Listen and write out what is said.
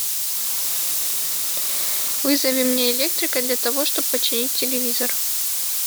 вызови мне электрика для того чтобы починить телевизор